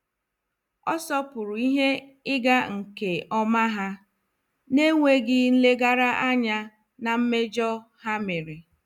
Ọ sopuru ihe ịga nke ọma ha, na-enweghị nlegara anya na mmejọ ha mere.